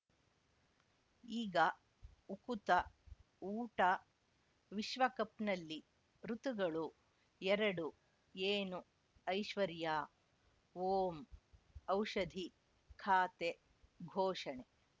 ಈಗ ಉಕುತ ಊಟ ವಿಶ್ವಕಪ್‌ನಲ್ಲಿ ಋತುಗಳು ಎರಡು ಏನು ಐಶ್ವರ್ಯಾ ಓಂ ಔಷಧಿ ಖಾತೆ ಘೋಷಣೆ